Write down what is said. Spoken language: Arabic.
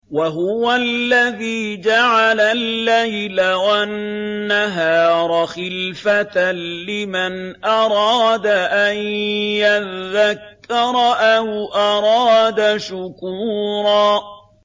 وَهُوَ الَّذِي جَعَلَ اللَّيْلَ وَالنَّهَارَ خِلْفَةً لِّمَنْ أَرَادَ أَن يَذَّكَّرَ أَوْ أَرَادَ شُكُورًا